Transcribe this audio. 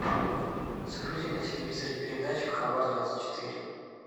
загрузи на телевизоре передачу хабар двадцать четыре